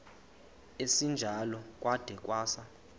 esinjalo kwada kwasa